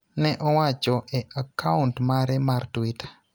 ne owacho e akaont mare mar Twitter.